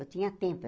Eu tinha tempo.